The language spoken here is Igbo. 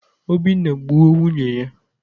Obinna gbuo nwunye ya.